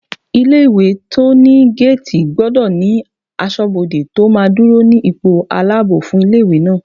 Ilé-ìwé tó ní géètì gbọdọ̀ ní asọ́bodè tó máa dúró ní ipò aláàbò fún ilé-ìwé náà